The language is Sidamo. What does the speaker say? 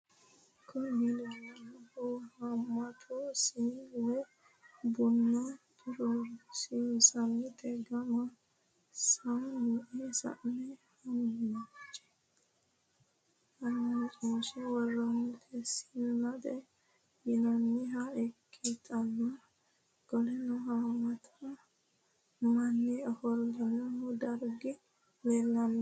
Kuni leelanohu haamata siine woyi buna xorsinaniti gamba saine hamachinshe woroniti sinete yinaniha ikitana qoleno hamata manni ofolanohu dargi leelanori?